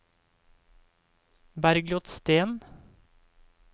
Bergljot Steen